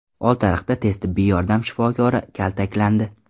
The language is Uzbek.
Oltiariqda tez tibbiy yordam shifokori kaltaklandi.